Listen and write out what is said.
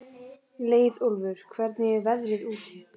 Leiðólfur, hvernig er veðrið úti?